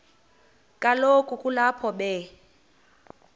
kaloku kulapho be